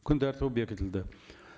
күн тәртібі бекітілді